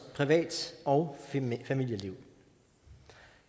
privat og familieliv